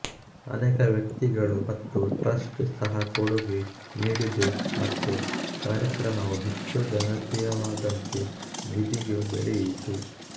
ಅನೇಕ ವ್ಯಕ್ತಿಗಳು ಮತ್ತು ಟ್ರಸ್ಟ್ ಸಹ ಕೊಡುಗೆ ನೀಡಿದೆ ಮತ್ತು ಕಾರ್ಯಕ್ರಮವು ಹೆಚ್ಚು ಜನಪ್ರಿಯವಾದಂತೆ ನಿಧಿಯೂ ಬೆಳೆಯಿತು